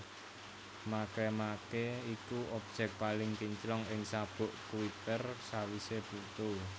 Makemake iku objèk paling kinclong ing sabuk Kuiper sawisé Pluto